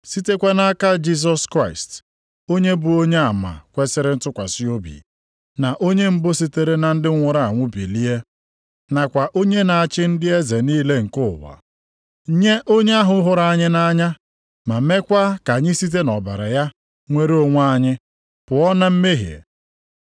sitekwa nʼaka Jisọs Kraịst, onye bụ onyeama kwesiri ntụkwasị obi, na onye mbụ sitere na ndị nwụrụ anwụ bilie, nakwa onye na-achị ndị eze niile nke ụwa. Nye onye ahụ hụrụ anyị nʼanya ma meekwa ka anyị site nʼọbara ya nwere onwe anyị pụọ na mmehie.